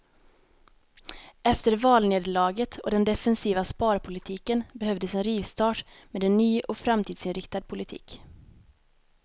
Efter valnederlaget och den defensiva sparpolitiken behövdes en rivstart med en ny och framtidsinriktad politik.